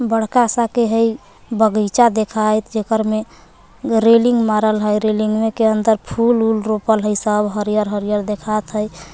बड़का सा के हई बगइचा देखाइत जेकर में रेलिंग मारल हइ रेलिंगवे के अंदर फुल ऊल रोपल हइ सब हरियर हरियर देखात हइ।